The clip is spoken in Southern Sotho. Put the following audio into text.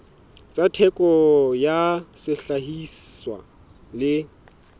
tsa theko ya sehlahiswa le